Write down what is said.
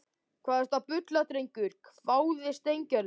Hvað ertu að bulla drengur? hváði Steingerður.